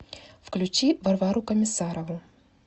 включи варвару комиссарову